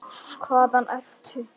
Hvaðan ertu?